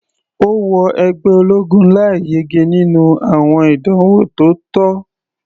Ó wọ ẹgbẹ́ ológun láì yege nínú àwọn ìdánwò tó tọ́.